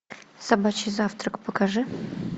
собачий завтрак покажи